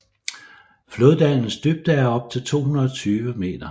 Floddalens dybde er op til 220 m